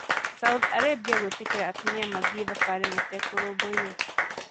Saudi Arabia gwĩtĩkĩria atumia gũthiĩ thabarĩ matekũrũmbũiyo.